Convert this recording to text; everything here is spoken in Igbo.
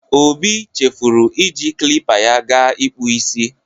Obi chefuru iji klipa ya ga ịkpụ isi.